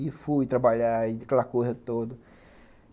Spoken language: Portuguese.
E fui trabalhar e aquela coisa toda.